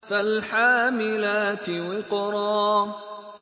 فَالْحَامِلَاتِ وِقْرًا